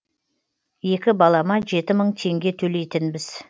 екі балама жеті мың теңге төлейтінбіз